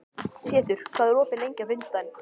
Pétur, hvað er opið lengi á fimmtudaginn?